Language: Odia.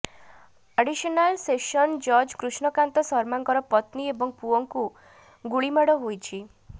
ଆଡିସନାଲ ସେସନ ଜଜ କୃଷ୍ଣକାନ୍ତ ଶର୍ମାଙ୍କର ପତ୍ନୀ ଏବଂ ପୁଅଙ୍କୁ ଗିଳିମାଡ଼ ହୋଇଛି